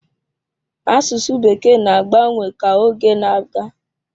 Asụsụ Bekee na-agbanwe ka oge na-aga.